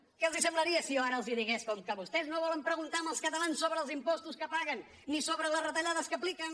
què els semblaria si jo ara els digués com que vostès no volen preguntar als catalans sobre els impostos que paguen ni sobre les retallades que apliquen